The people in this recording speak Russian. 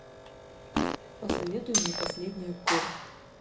посоветуй мне последний аккорд